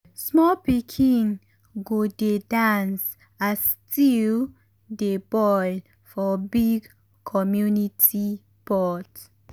small pikin go dey dance as stew dey boil for big community pot.